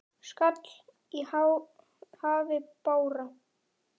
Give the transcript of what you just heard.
skall í hafi bára.